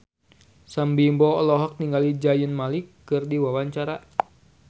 Sam Bimbo olohok ningali Zayn Malik keur diwawancara